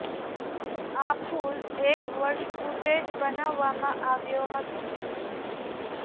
આ પુલ એક વર્ષ પૂર્વે જ બનાવવામાં આવ્યો હતો